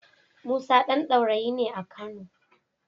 Musa ɗan Daurayi ne a Kano.